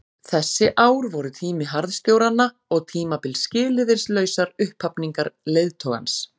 Þessi ár voru tími harðstjóranna og tímabil skilyrðislausrar upphafningar leiðtogans.